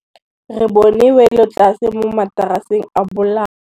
Re bone wêlôtlasê mo mataraseng a bolaô.